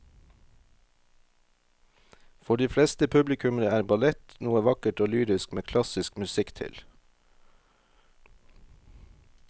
For de fleste publikummere er ballett noe vakkert og lyrisk med klassisk musikk til.